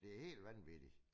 Det helt vanvittigt